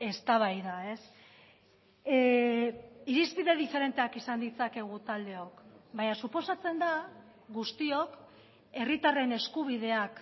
eztabaida irizpide diferenteak izan ditzakegu taldeok baina suposatzen da guztiok herritarren eskubideak